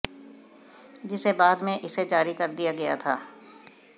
जिसे बाद में इसे जारी कर दिया गया था